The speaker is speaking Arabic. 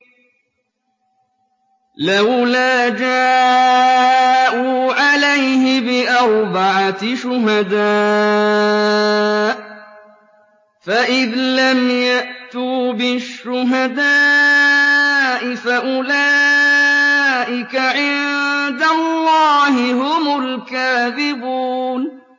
لَّوْلَا جَاءُوا عَلَيْهِ بِأَرْبَعَةِ شُهَدَاءَ ۚ فَإِذْ لَمْ يَأْتُوا بِالشُّهَدَاءِ فَأُولَٰئِكَ عِندَ اللَّهِ هُمُ الْكَاذِبُونَ